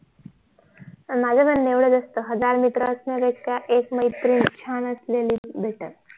माझ म्हणणं एवढच असत हजार मित्र असण्यापेक्षा एक मैत्रीण छान असलेली BETTER